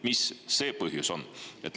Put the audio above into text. Mis see põhjus on?